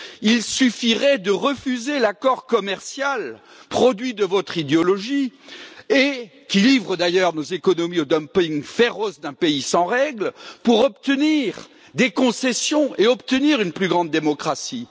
Il suffirait de refuser l'accord commercial, produit de votre idéologie et qui livre d'ailleurs nos économies au dumping féroce d'un pays sans règles, pour obtenir des concessions et obtenir une plus grande démocratie.